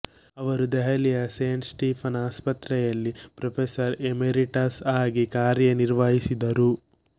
ಅವರು ದೆಹಲಿಯ Saint Stephen's ಆಸ್ಪತ್ರೆಯಲ್ಲಿ ಪ್ರೊಫೆಸರ್ ಎಮೆರಿಟಸ್ ಆಗಿ ಕಾರ್ಯನಿರ್ವಹಿಸಿದರು